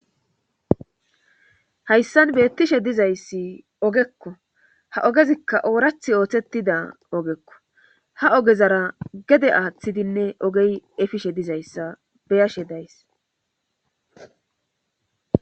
Hayssan beettishe dizayssi ogekko. ha ogezikka ooraththi ooththetida ogekko. ha ogezara gede aaththidinne ogey effishe dizayssa beyashe days.